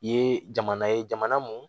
I ye jamana ye jamana mun